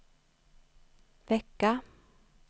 vecka